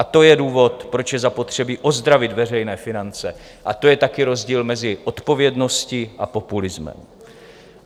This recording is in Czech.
A to je důvod, proč je zapotřebí ozdravit veřejné finance, a to je taky rozdíl mezi odpovědností a populismem.